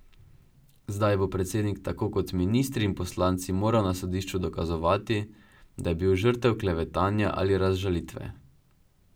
Zdaj bo predsednik, tako kot ministri in poslanci, moral na sodišču dokazovati, da je bil žrtev klevetanja ali razžalitve.